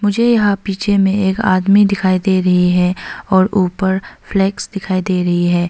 मुझे यहां पीछे में आदमी दिखाई दे रही है और ऊपर फ्लैग्स दिखाई दे रही है।